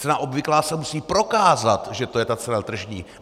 Cena obvyklá se musí prokázat, že to je ta cena tržní.